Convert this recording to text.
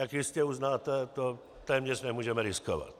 Jak jistě uznáte, to téměř nemůžeme riskovat.